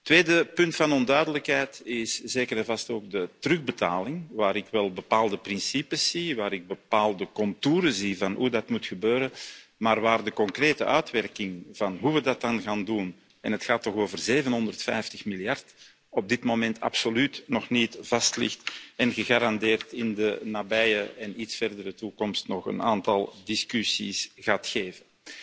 Tweede punt van onduidelijkheid is zeker en vast ook de terugbetaling, waarbij ik wel bepaalde principes zie, bepaalde contouren van hoe dat moet gebeuren, maar waarvan de concrete uitwerking van hoe we dat dan gaan doen en het gaat toch over 750 miljard euro op dit moment absoluut nog niet vastligt en gegarandeerd in de nabije en iets verdere toekomst nog een aantal discussies gaat opleveren.